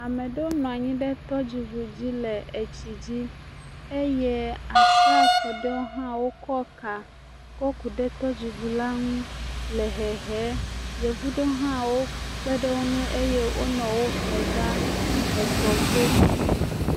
Ame aɖewo nɔ anyi ɖe tɔdziŋu dzi le etsi dzi eye asrafo aɖewo hã wokɔ ka ku ɖe tɔdziŋu la nu le hehem. Yevu aɖewo hã kpe ɖe wo ŋu eye wonɔ wo hɔm va etɔ to.